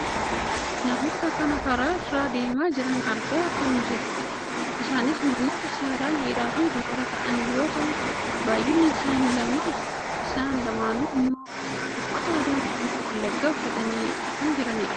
Namoota kan karaa irra deemaa jiran argaa kan jirrudha. Isaanis namoota saalaan dhiiraafi dubara ta'an yoo ta'an baayyinni isaanii lamadha. Isaan lamaanuu ammoo uffata aadaa Oromoo Wallaggaa uffatanii kan jiranidha.